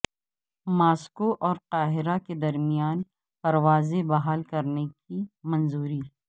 Moscow اورقاہرہ کے درمیان پروازیں بحال کرنے کی منظوری